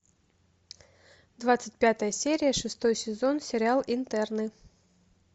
двадцать пятая серия шестой сезон сериал интерны